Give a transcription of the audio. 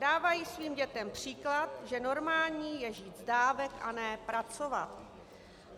Dávají svým dětem příklad, že normální je žít z dávek a ne pracovat.